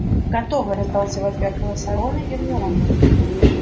готовы раздались в ответ голоса рона и гермионы